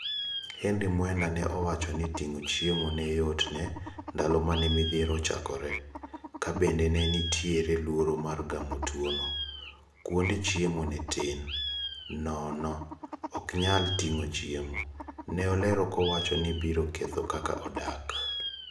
Henry Mwenda ne owacho ni ting'o chiemo ne yot ne ndalo mane midhiero ochakore. Kabende ne nitiere luoro mar gamo tuo no. Kwonde chiemo ne tin. Nono, "okanyal tingo chiemo." Neolero kowacho ni biro ketho kaka odak.